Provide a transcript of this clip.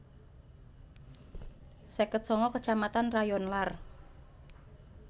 seket sanga kecamatan rayonlar